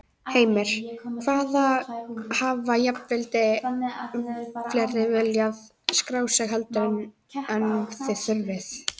Heimir: Hvað, hafa jafnvel fleiri viljað skráð sig heldur en, en þið þurfið?